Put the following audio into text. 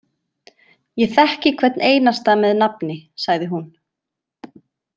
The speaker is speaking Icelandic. Ég þekki hvern einasta með nafni, sagði hún.